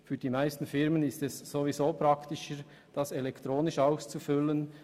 Für die meisten Firmen ist es ohnehin praktischer, elektronisch auszufüllen.